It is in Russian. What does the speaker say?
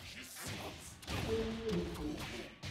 кейммирикл